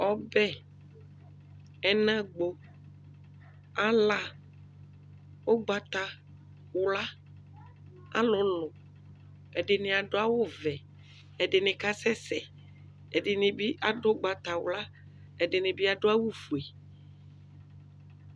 ɔbɛ, ɛnagbɔ, ala, ɔgbatawla, alʋlʋ, ɛdini adʋ awʋ vɛ, ɛdini kasɛsɛ, ɛdinibi adʋ ɔgbatawla, ɛdinibi adʋ awʋ ƒʋɛ